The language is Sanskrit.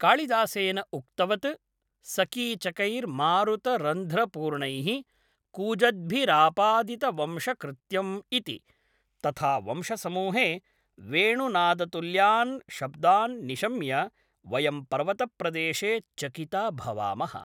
काळिदासेन उक्तवत् सकीचकैर्मारुतरन्ध्रपूर्णैः कूजद्भिरापादितवंशकृत्यम् इति तथा वंशसमूहे वेणुनादतुल्यान् शब्दान् निशम्य वयं पर्वतप्रदेशे चकिता भवामः